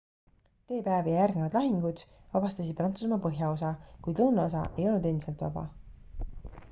d-päev ja järgnevad lahingud vabastasid prantsusmaa põhjaosa kuid lõunaosa ei olnud endiselt vaba